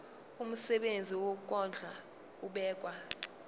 umsebenzi wokondla ubekwa